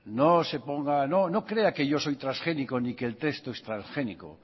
no se ponga no no crea que yo soy transgénico ni que el texto es transgénico